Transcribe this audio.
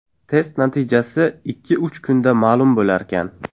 Test natijasi ikki-uch kunda ma’lum bo‘larkan.